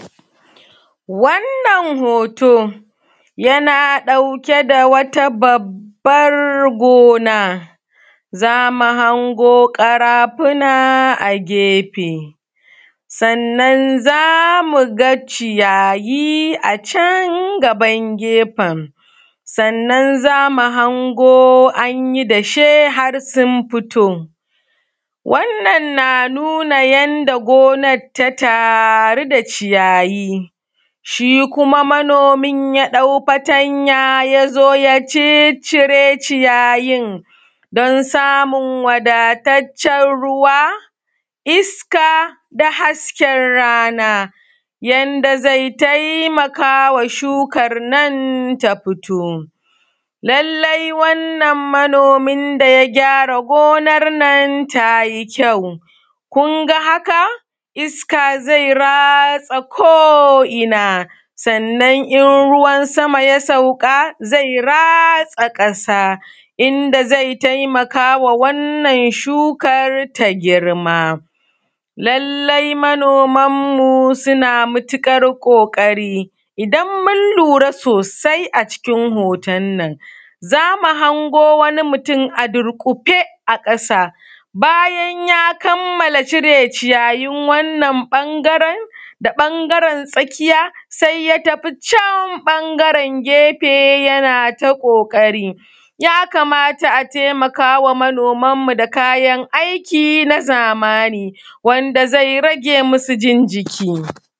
Wannan hoto yana ɗauke da wata babbar gona, zamu hango karafuna a gefe, sannan zamu ga ciyayi a can gaban gefen, sannan zamu hango an yi dashe har sun fito, wannan na nuna yanda gonar ta taru da ciyayi, shi kuma manomin ya ɗau fatanya yazo ya cicire ciyayin, don samun wadataccen ruwa, iska da hasken rana, yanda zai taimaka wa shukan nan ta fito, lallai wannan manomi da ya gyara gonar nan tayi kyau ,kunga haka, iska zai ratsa ko ina, sannan in ruwan sama ya sauƙa, zai ratsa ƙasa, inda zai taimakawa wannan shukar ta girma. Lallai manoman mu suna matuƙar ƙoƙari idan mun lura sosai a cikin hoton nan, zamu hango wani mutum a durƙufe a ƙasa, bayan ya kamala cire ciyayin wannan ɓangaren da ɓangaren tsakiya sai ya tafi can ɓangaren gefe, yana ta ƙoƙari ya kamata a taimakawa manoman mu da kayan aiki na zamani, wanda zai rage musu jin jiki.